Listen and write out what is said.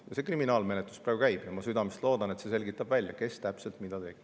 Kriminaalmenetlus praegu käib ja ma südamest loodan, et see selgitab välja, kes täpselt mida tegi.